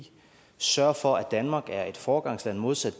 sørge for at danmark er foregangsland modsat